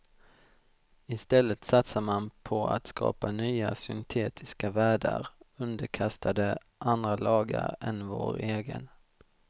Istället satsar man på att skapa nya syntetiska världar underkastade andra lagar än vår egen.